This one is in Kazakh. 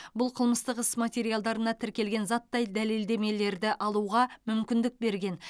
бұл қылмыстық іс материалдарына тіркелген заттай дәлелдемелерді алуға мүмкіндік берген